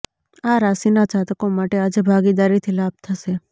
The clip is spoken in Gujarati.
આ રાશિના જાતકો માટે આજે ભાગીદારીથી લાભ થશે